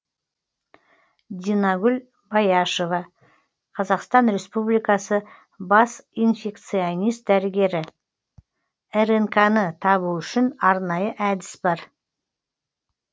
динагүл баешова қазақстан республикасы бас инфекционист дәрігері рнк ны табу үшін арнайы әдіс бар